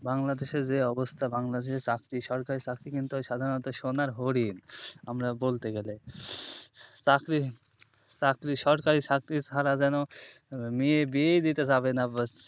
বাংলাদেশের যে অবস্থা বাংলাদেশ চাকরি যে সরকারি চাকরি সোনার হরিণ আমরা বলতে গেলে চাকরি চাকরি সরকারি চাকরি ছাড়া যেন মেয়ের বিয়ে দিতে যাবে না